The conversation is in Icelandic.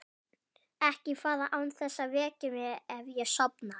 Ekki fara án þess að vekja mig ef ég sofna.